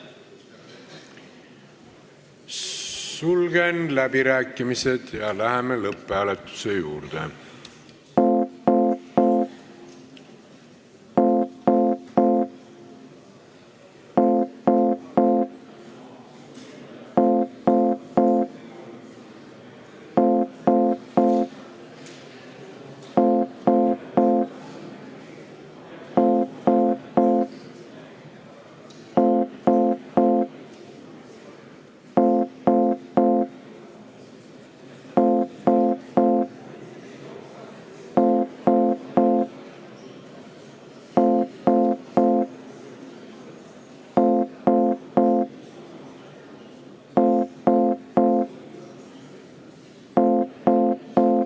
Sulgen läbirääkimised ja läheme lõpphääletuse juurde.